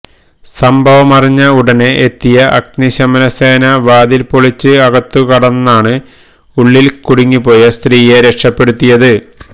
സംഭവമറിഞ്ഞ ഉടനെ എത്തിയ അഗ്നിശമനസേന വാതില് പൊളിച്ച് അകത്തുകടന്നാണ് ഉള്ളില് കുടുങ്ങിപ്പോയ സ്ത്രീയെ രക്ഷപ്പെടുത്തിയത്